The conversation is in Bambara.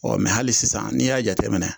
Ɔ mɛ hali sisan n'i y'a jateminɛ